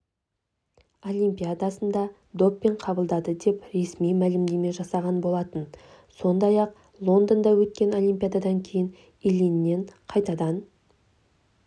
олимпиадасында допинг қабылдады деп ресми мәлімдеме жасаған болатын сондай-ақ лондонда өткен олимпиададан кейін ильиннен қайтадан